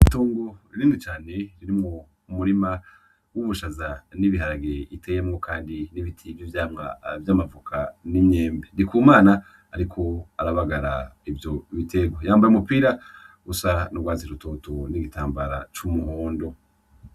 Itongo rinini cane ririmwo umurima w'ubushaza n'ibiharage, uteyemwo kandi n'ibiti vy'ivyamwa vy'amavoka n'imyembe. Ndikumana ariko arabagara ivyo biterwa, yambaye umupira usa n'urwatsi rutoto n'igitambara c'umuhondo.